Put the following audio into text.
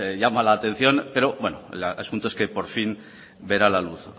llama la atención pero bueno el asunto es que por fin verá la luz